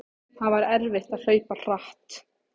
Það var erfitt að hlaupa hratt.